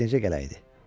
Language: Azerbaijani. Tez necə gələydi?